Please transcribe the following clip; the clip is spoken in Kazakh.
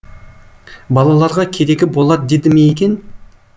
балаларға керегі болар деді ме екен